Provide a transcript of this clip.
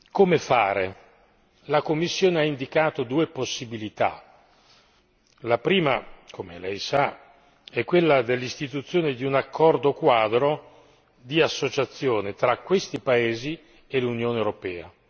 Come fare? La Commissione ha indicato due possibilità la prima come Lei sa è quella dell'istituzione di un accordo quadro di associazione tra questi paesi e l'Unione europea